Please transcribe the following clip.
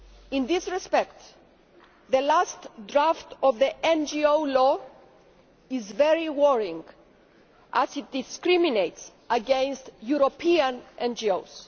In this respect, the last draft of the NGO law is very worrying as it discriminates against European NGOs.